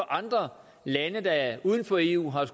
andre lande uden for eu har det